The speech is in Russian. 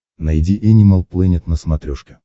найди энимал плэнет на смотрешке